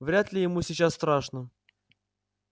вряд ли ему сейчас страшно